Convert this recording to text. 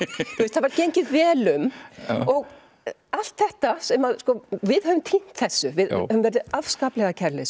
það var gengið vel um og allt þetta við höfum týnt þessu við höfum verið afskaplega kærulaus